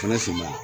Fɛnɛ finman